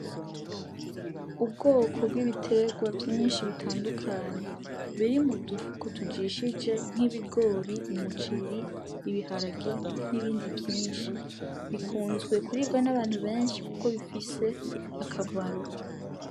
Ubwoko bw'ibitegwa vyinshi bitandukanye biri mudufuka tujishije nk'ibigori, umuceri, ibiharage n'ibindi vyinshi. Bikunzwe kuribwa n'abantu benshi kuko bifise akamaro.